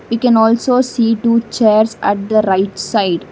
you can also see two chairs at the right side.